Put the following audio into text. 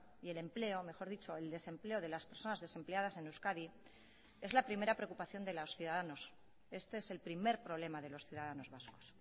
y el empleo mejor dicho el desempleo de las personas desempleadas en euskadi es la primera preocupación de los ciudadanos este es el primer problema de los ciudadanos vascos